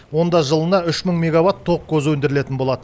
онда жылына үш мың мегаватт тоқ көзі өндірілетін болады